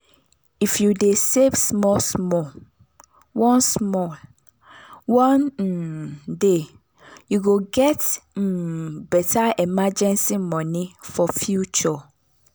if you dey save small small one small one um day you go get um better emergency money for future.